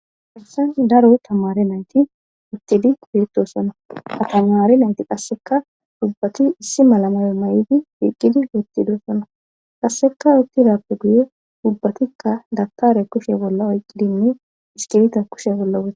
haysan daro tamare nayti uttidi pitosana atamare nayti qasseka ubbati issi malamayo ma7di wiiqqidi wuttidusana qasseka uttidappe guye gubbatikka dakare kushe bolla oyqqi dimmi iskibita kushe bolla woth